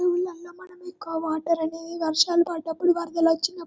ఊర్లలో మనము ఎక్కువగా అనేది వర్షాలు వరదలు వచ్చినప్పుడు.